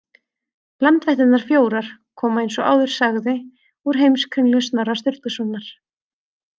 Landvættirnar fjórar koma eins og áður sagði úr Heimskringlu Snorra Sturlusonar.